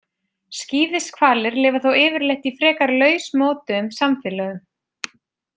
Skíðishvalir lifa þó yfirleitt í frekar lausmótuðum samfélögum.